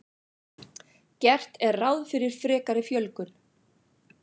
Gert er ráð fyrir frekari fjölgun